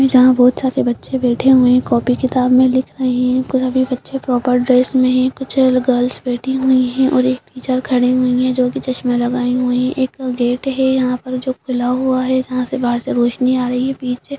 जहां बहोत सारे बच्चे बैठे हुए कॉपी किताब में लिख रहे हैं कुछ अभी बच्चे प्रॉपर ड्रेस में हैं कुछ गर्ल्स बैठी हुई है और एक टीचर खड़ी हुई है जो की चश्मा लगाए हुए एक गेट है यहां पर जो खुला हुआ है यहां से बाहर से रोशनी आ रही है पीछे --